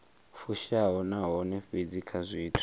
fushaho nahone fhedzi kha zwithu